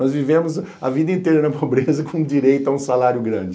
Nós vivemos a vida inteira na pobreza com direito a um salário grande.